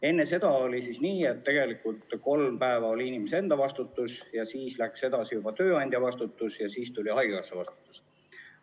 Enne oli nii, et kolm päeva oli inimese enda vastutus ja seejärel oli juba tööandja vastutus ja siis tuli haigekassa vastutus.